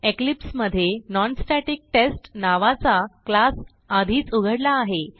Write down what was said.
Eclipse मधे non static test नावाचा class आधीच उघडला आहे